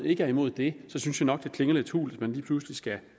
ikke er imod det synes jeg nok at det klinger lidt hult at man lige pludselig skal